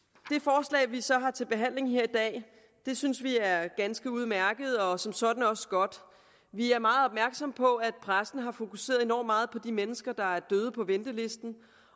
det så har til behandling her i dag synes vi er ganske udmærket og som sådan også godt vi er meget opmærksomme på at pressen har fokuseret enormt meget på de mennesker der er døde på ventelisten